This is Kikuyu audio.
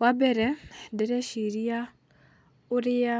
Wambere, ndĩreciria ũrĩa